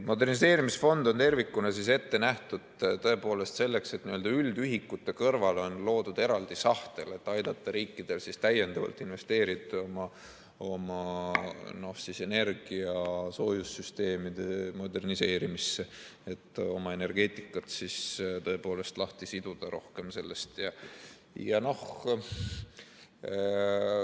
Moderniseerimisfond on tervikuna ette nähtud selleks, et üldühikute kõrval on loodud eraldi sahtel, et aidata riikidel täiendavalt investeerida oma energia-soojussüsteemide moderniseerimisse, et oma energeetikat rohkem lahti siduda.